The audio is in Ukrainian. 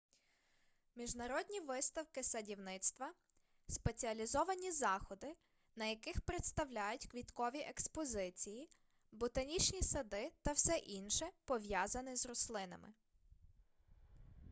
міжнародні виставки садівництва спеціалізовані заходи на яких представляють квіткові експозиції ботанічні сади та все інше пов'язане з рослинами